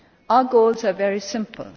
Our goals are very simple.